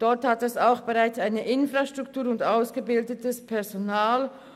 Dort gibt es bereits bestehende Infrastrukturen und ausgebildetes Personal.